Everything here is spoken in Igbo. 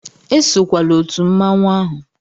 Esokwala otu mmanwụ ahụ!